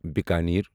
Bikaner